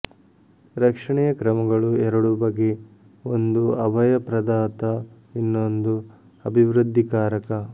ರಕ್ಷಣೆಯ ಕ್ರಮಗಳು ಎರಡು ಬಗೆ ಒಂದು ಅಭಯ ಪ್ರದಾತ ಇನ್ನೊಂದು ಅಭಿವೃದ್ಧಿಕಾರಕ